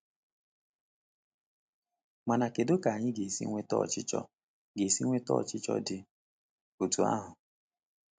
Mana kedu ka anyị ga-esi nweta ọchịchọ ga-esi nweta ọchịchọ dị otú ahụ?